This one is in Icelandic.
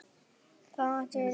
Þá mætti rita